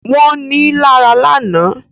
Wọ́n ní lára lánàá